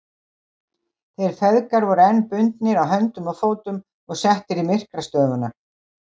Þeir feðgar voru enn bundnir á höndum og fótum og settir í myrkrastofuna.